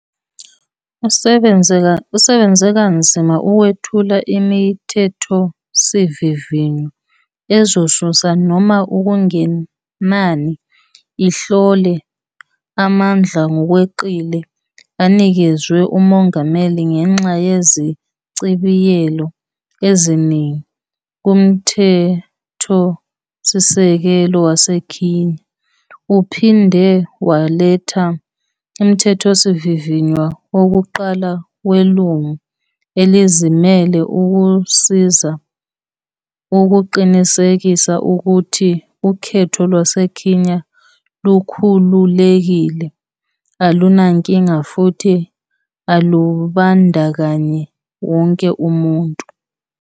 Usebenze kanzima ukwethula iMithethosivivinywa ezosusa noma okungenani ihlole amandla ngokweqile anikezwe uMongameli ngenxa yezichibiyelo eziningi kuMthethosisekelo waseKenya. Uphinde waletha uMthethosivivinywa wokuqala weLungu Elizimele ukusiza ukuqinisekisa ukuthi ukhetho lwaseKenya lukhululekile, alunankinga futhi lubandakanya wonke umuntu.